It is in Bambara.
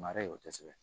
Mara ye o tɛ kosɛbɛ